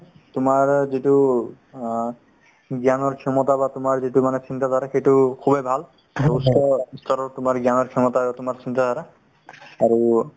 তোমাৰ তাত যিটো অ জ্ঞানৰ ক্ষমতা বা তোমাৰ যিটো মানে চিন্তাধাৰা সেইটো খুবেই ভাল তোমাৰ জ্ঞানৰ ক্ষমতাৰ তোমাৰ চিন্তাধাৰা আৰু